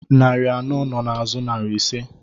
Narị anọ nọ n'azụ narị ise